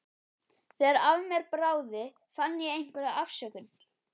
Þegar af mér bráði fann ég einhverja afsökun.